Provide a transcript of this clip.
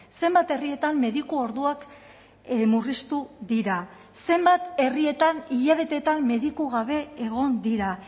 zenbat herrietan mediku orduak murriztu dira zenbat herrietan hilabeteetan mediku gabe egon dira